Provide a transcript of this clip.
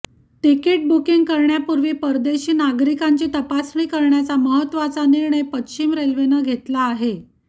ticket booking करण्यापूर्वी परदेशी नागरिकांची तपासणी करण्याचा महत्त्वाचा निर्णय पश्चिम रेल्वेने घेतला आहे